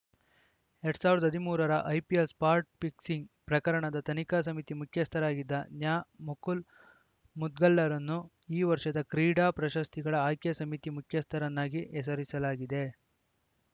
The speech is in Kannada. ಎರಡ್ ಸಾವಿರದ ಹದಿಮೂರರ ಐಪಿಎಲ್‌ ಸ್ಪಾಟ್‌ ಫಿಕ್ಸಿಂಗ್‌ ಪ್ರಕರಣದ ತನಿಖಾ ಸಮಿತಿ ಮುಖ್ಯಸ್ಥರಾಗಿದ್ದ ನ್ಯಾಮುಕುಲ್‌ ಮುದ್ಗಲ್‌ರನ್ನು ಈ ವರ್ಷದ ಕ್ರೀಡಾ ಪ್ರಶಸ್ತಿಗಳ ಆಯ್ಕೆ ಸಮಿತಿ ಮುಖ್ಯಸ್ಥರನ್ನಾಗಿ ಹೆಸರಿಸಲಾಗಿದೆ